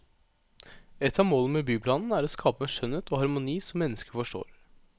Et av målene med byplanen er å skape en skjønnhet og harmoni som mennesker forstår.